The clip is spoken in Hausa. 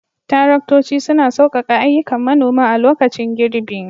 Taraktoci suna saukaka ayyukan manoma a lokacin girbi.